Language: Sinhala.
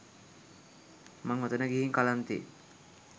මං ඔතන ගිහින් කලන්තේ